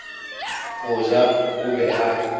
go ja o be a